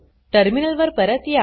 terminal वर परत या